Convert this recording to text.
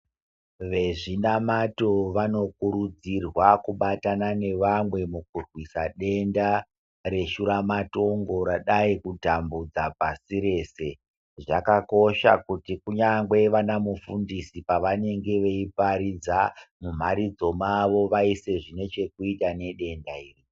Vezvinamato vanokurudzirwa kubatana nevamwe mukurwisa denda reshuramatongo radai kutambudza pasi rese. Zvakakosha kuti kunyangwe vanamufundisi pavanenge veiparidza mumharidzo mavo vaise zvine chekuita nedenda iri.